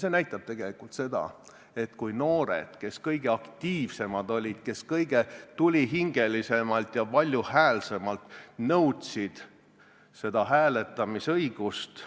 See näitab tegelikult seda, et kui noored, kes kõige aktiivsemad olid, kes kõige tulihingelisemalt ja valjuhäälsemalt nõudsid hääletamisõigust,